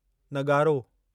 नग़ारो